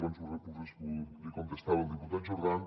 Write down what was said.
abans l’hi contestava al diputat jordan